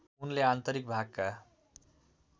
उनले आन्तरिक भागका